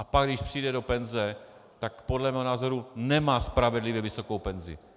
A pak když přijde do penze, tak podle mého názoru nemá spravedlivě vysokou penzi.